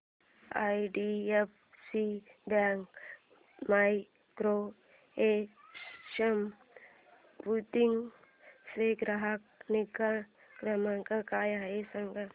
IDFC bank micro ATM Udgir चा ग्राहक निगा क्रमांक काय आहे सांगा